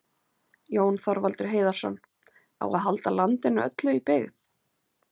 Jón Þorvaldur Heiðarsson,: Á að halda landinu öllu í byggð?